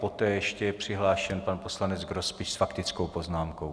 Poté je ještě přihlášen pan poslanec Grospič s faktickou poznámkou.